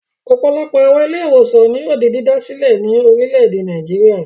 Ọ̀pọ̀lọpọ̀ àwọn ilé-ìwòsàn ni yóò di dídá sílẹ̀ ní orílẹ̀-èdè Nàìjíríà.